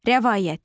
Rəvayət.